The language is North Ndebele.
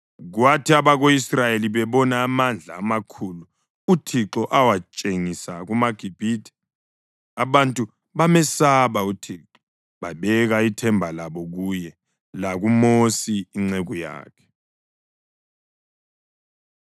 Kwathi abako-Israyeli bebona amandla amakhulu uThixo awatshengisa kumaGibhithe, abantu bamesaba uThixo babeka ithemba labo kuye lakuMosi inceku yakhe.